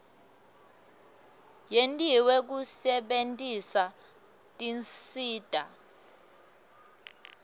yentiwe kusebentisa tinsita